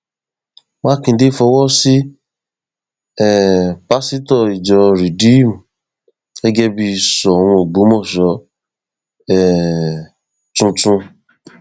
mákindé fọwọ sí um pásítọ ìjọ rìdíìmù gẹgẹ bíi soun ọgbọmọṣọ um tuntun